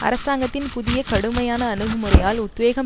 அரசாங்கத்தின் புதிய கடுமையான அணுகுமுறையால் உத்வேகம்